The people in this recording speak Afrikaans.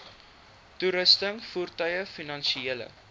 toerusting voertuie finansiële